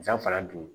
San fana don